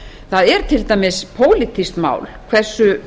það er til dæmis pólitískt mál hversu